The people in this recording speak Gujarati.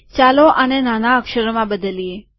ચાલો આને નાના અક્ષરોમાં બદલીએ